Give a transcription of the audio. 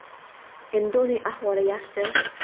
Endi uning ahvoli yaxshi.